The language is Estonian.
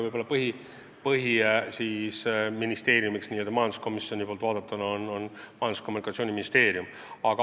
Võib-olla n-ö põhiministeeriumiks majanduskomisjoni poolt vaadatuna on Majandus- ja Kommunikatsiooniministeerium.